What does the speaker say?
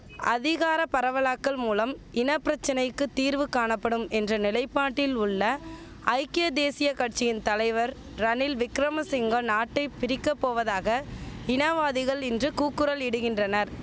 அதிகார பரவலாக்கல் மூலம் இனபிரச்சனைக்குத் தீர்வு காணபடும் என்ற நிலைபாட்டில் உள்ள ஐக்கிய தேசிய கட்சியின் தலைவர் ரணில் விக்கிரமசிங்க நாட்டை பிரிக்கப்போவதாக இனவாதிகள் இன்று கூக்குரல் இடுகின்றனர்